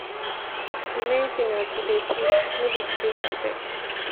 di main thing na to dey push no be to dey perfect